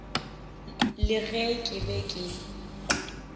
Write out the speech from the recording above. le ge ke be ke